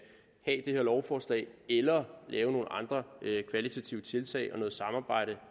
her lovforslag eller lave nogle andre kvalitative tiltag og noget samarbejde